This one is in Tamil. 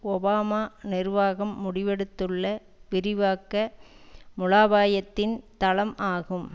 ஒபாமா நிர்வாகம் முடிவெடுத்துள்ள விரிவாக்க முலாபாயத்தின் தளம் ஆகும்